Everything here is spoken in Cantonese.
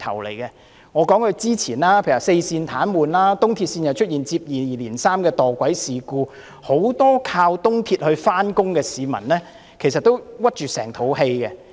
例如早前的四線癱瘓，東鐵線又出現接二連三的墮軌事故，很多依靠東鐵線上班的市民都是一肚子氣。